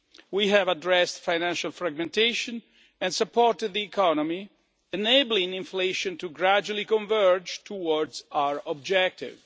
We have addressed financial fragmentation and supported the economy, enabling inflation gradually to converge towards our objective.